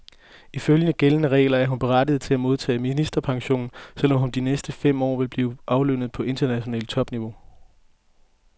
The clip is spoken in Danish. Ifølge gældende regler er hun berettiget til at modtage ministerpension, selv om hun de næste fem år vil blive aflønnet på internationalt topniveau.